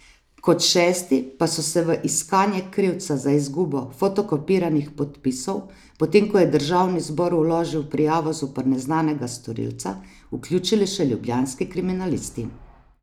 Kot šesti pa so se v iskanje krivca za izgubo fotokopiranih podpisov, potem ko je državni zbor vložil prijavo zoper neznanega storilca, vključili še ljubljanski kriminalisti.